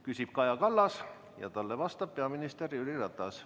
Küsib Kaja Kallas ja talle vastab peaminister Jüri Ratas.